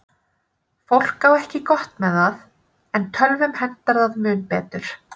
Fólk á ekki gott með það, en tölvum hentar það mun betur.